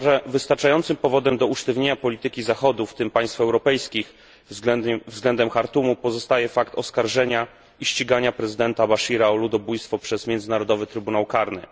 Wystarczającym powodem do usztywnienia polityki Zachodu, w tym państw europejskich, względem Chartumu pozostaje fakt oskarżenia i ścigania prezydenta Bashira o ludobójstwo przez Międzynarodowy Trybunał Karny.